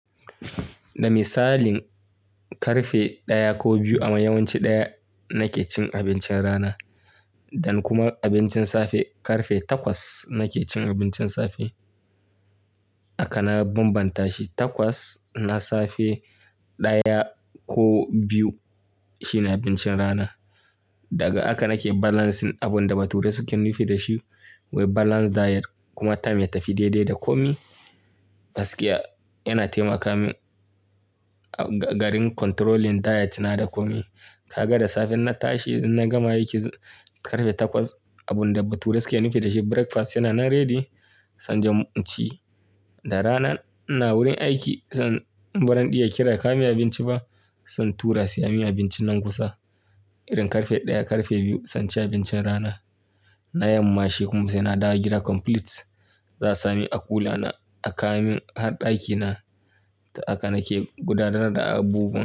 Da misalin karfe ɗaya ko biyu amma yawanci ɗaya nake cin abincin rana. Dan kuma abincin safe karfe takwas nake cin abincin safe. Haka na bambanta shi takwas na safe ɗaya ko biyu shine abincin rana. Daga haka nake balancing abunda bature suke nufin da shi. Balance diet kuma time ya tafi daidai da komai. Gaskiya yana taimaka min a garin controlling diet na da komai. Ka ga da safe in na tashi na gama aiki karfe takwas abunda bature suke nufin da shi breakfast yana nan ready. Se inje in ci, da rana ina wurin aiki. San barin ɗiya kira ka min abinci ba. San tura siyo min abinci nan kusa. Irin karfe ɗaya karfe biyu san ci abincin rana. Na yamma shi kuma saina dawo gida complete. Za a sa min a kula na a kawo min har ɗakina. Ta haka nake gudanar da abubuwa.